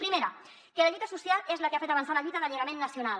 primera que la lluita social és la que ha fet avançar la lluita d’alliberament na cional